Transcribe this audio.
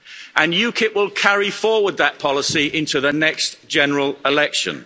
And UKIP will carry forward that policy into the next general election.